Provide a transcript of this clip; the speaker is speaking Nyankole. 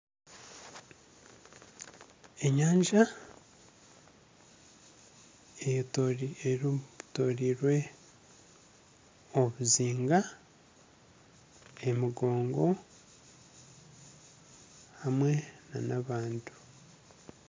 Enyanja eyetoroirwe obuzinga emigongo hamwe nana abantu.